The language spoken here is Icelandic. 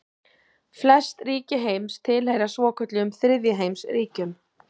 Flest ríki heims tilheyra svokölluðum þriðja heims ríkjum.